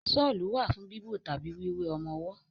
Ṣọ́lù wà fún bíbo tàbí wíwé ọmọwọ́.